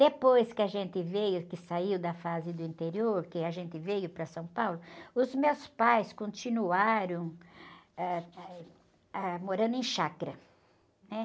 Depois que a gente veio, que saiu da fase do interior, que a gente veio para São Paulo, os meus pais continuaram, ãh, eh, ãh, morando em chácara.